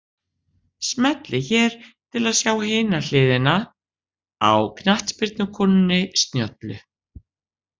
Smellið hér til að sjá hina hliðina á knattspyrnukonunni snjöllu